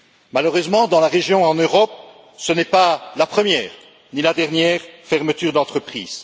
Malheureusement, dans la région, en Europe, ce n'est pas la première, ni la dernière fermeture d'entreprise.